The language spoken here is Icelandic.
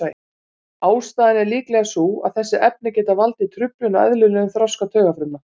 Ástæðan er líklega sú að þessi efni geta valdið truflun á eðlilegum þroska taugafrumna.